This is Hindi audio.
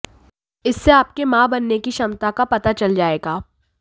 इससे आपके मां बनने की क्षमता का पता चल जाएगा